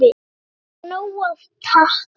Enda af nógu að taka.